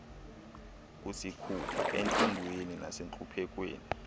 kusikhupha entlungwini nasentluphekweni